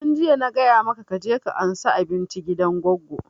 Tun jiya na gaya maka ka je ka ansa abinci gidan goggo!